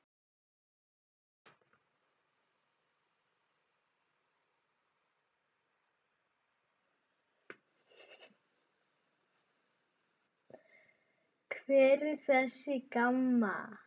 Hver er þessi Gamma?